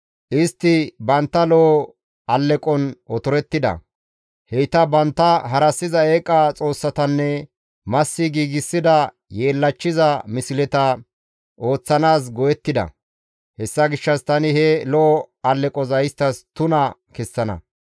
Istti bantta lo7o alleqon otorettida; heyta bantta harassiza eeqa xoossatanne massi giigsida yeellachchiza misleta ooththanaas go7ettida. Hessa gishshas tani he lo7o alleqoza isttas tuna kessana.